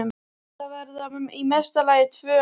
Þetta verða í mesta lagi tvö ár.